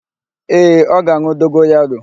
Ee, ọ ga-an̄ụ dogoyaro.